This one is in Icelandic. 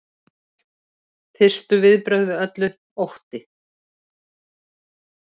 Fyrstu viðbrögð við öllu: Ótti.